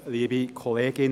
der BiK.